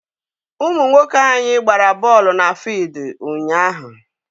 Ụmụ nwoke anyị gbara bọọlụ na fuild ụnyaahụ.